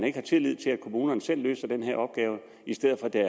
ikke tillid til at kommunerne selv løser den her opgave i stedet for at der